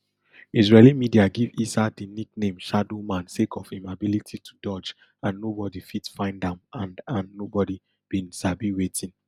israeli media give issa di nickname shadow man sake of im ability to dodge and nobodi fit find am and and nobodi bin sabi wetin